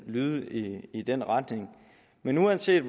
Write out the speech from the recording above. lyde lidt i i den retning men uanset